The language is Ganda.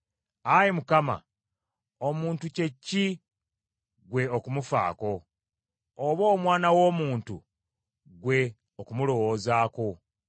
Ayi Mukama , omuntu kye ki ggwe okumufaako, oba omwana w’omuntu, ggwe okumulowoozaako?